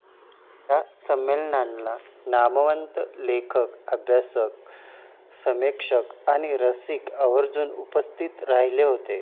या संमेलनांना नामवंत लेखक, अभ्यासक, समीक्षक आणि रसिक आवर्जून उपस्थित राहिले होते.